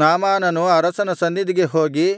ನಾಮಾನನು ಅರಸನ ಸನ್ನಿಧಿಗೆ ಹೋಗಿ